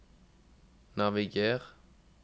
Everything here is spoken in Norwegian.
naviger